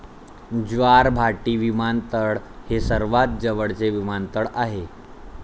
ज्वारभाटी विमानतळ हे सर्वात जवळचे विमानतळ आहे.